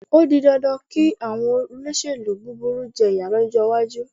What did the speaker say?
Ó di dandan kí àwọn olóṣèlú búburú jẹ ìyà lọ́jọ́ iwájú.